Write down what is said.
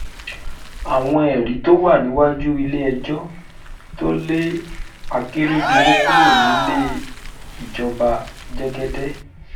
àwọn ẹ̀rí tó wà níwájú ilé-ẹjọ́ tó lé akérèdọ́lù kúrò nílé ìjọba- jẹ́gẹ́dẹ́